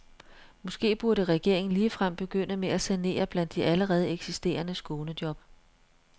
Måske burde regeringen ligefrem begynde med at sanere blandt de allerede eksisterende skånejob.